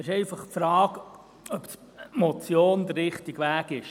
Es stellt sich einfach die Frage, ob die Motion der richtige Weg ist.